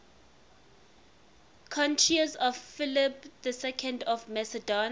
courtiers of philip ii of macedon